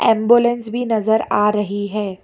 Ambulance भी नजर आ रही है।